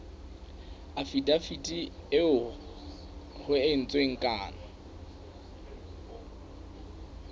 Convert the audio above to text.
afidaviti eo ho entsweng kano